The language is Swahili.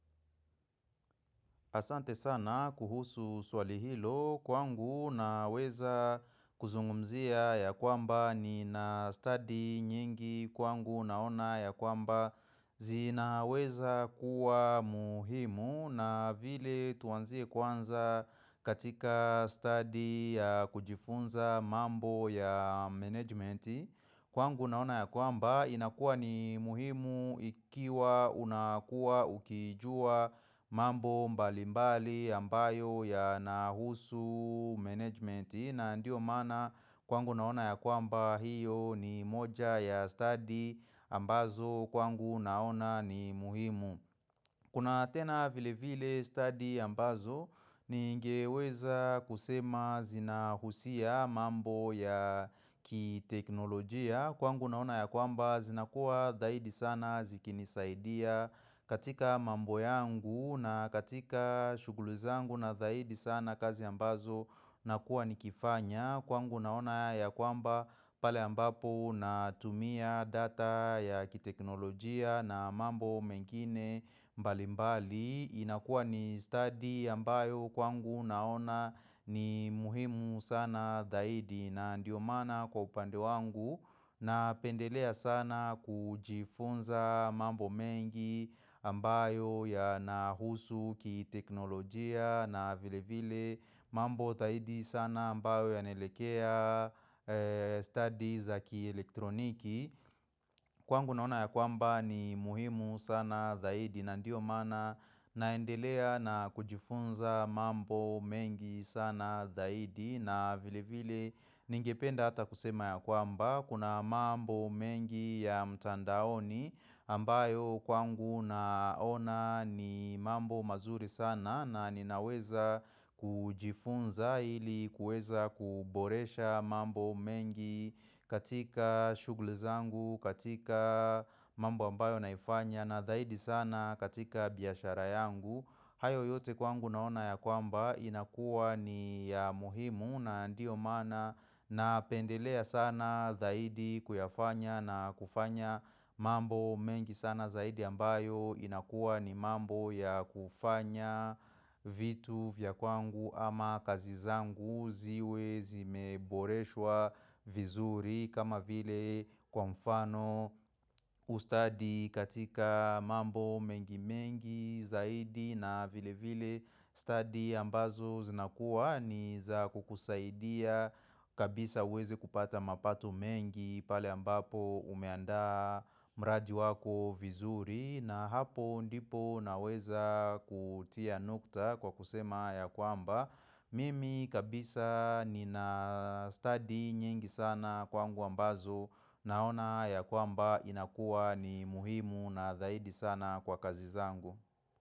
Asante sana kuhusu swali hilo kwangu naweza kuzungumzia ya kwamba ni na study nyingi kwangu naona ya kwamba zinaweza kuwa muhimu na vile tuanzie kwanza katika study ya kujifunza mambo ya managementi Kwangu naona ya kwamba inakuwa ni muhimu ikiwa unakuwa ukijua mambo mbali mbali ambayo ya nahusu management. Na ndio mana kwangu naona ya kwamba hiyo ni moja ya study ambazo kwangu naona ni muhimu. Kuna tena vile vile study ambazo ni ngeweza kusema zina husia mambo ya kiteknolojia. Kwangu naona ya kwamba zinakuwa dhaidi sana zikinisaidia katika mambo yangu na katika shuguli zangu na dhaidi sana kazi ambazo na kuwa nikifanya. Kwangu naona ya kwamba pale ambapo na tumia data ya kiteknolojia na mambo mengine mbali mbali. Inakua ni study ambayo kwangu naona ni muhimu sana dhaidi na ndio maana kwa upande wangu. Na pendelea sana kujifunza mambo mengi ambayo ya nahusu kiteknolojia na vile vile. Mambo thahidi sana ambayo ya nelekea studies za kielektroniki Kwangu naona ya kwamba ni muhimu sana thahidi na ndio maana naendelea na kujifunza mambo mengi sana thahidi na vile vile ningependa ata kusema ya kwamba kuna mambo mengi ya mtandaoni ambayo kwangu naona ni mambo mazuri sana na ninaweza kujifunza ili kueza kuboresha mambo mengi katika shughuli zangu, katika mambo ambayo naifanya na dhaidi sana katika biashara yangu hayo yote kwangu naona ya kwamba inakua ni ya muhimu na ndio maana na pendelea sana dhaidi kuyafanya na kufanya mambo mengi sana zaidi ambayo inakuwa ni mambo ya kufanya vitu vya kwangu ama kazi zangu ziwe zimeboreshwa vizuri kama vile kwa mfano ustadi katika mambo mengi mengi zaidi na vile vile study ambazo zinakuwa ni za kukusaidia kabisa huwezi kupata mapato mengi pale ambapo umeandaa mraji wako vizuri. Na hapo ndipo naweza kutia nukta kwa kusema ya kwamba Mimi kabisa nina study nyingi sana kwangu ambazo Naona ya kwamba inakua ni muhimu na zaidi sana kwa kazi zangu.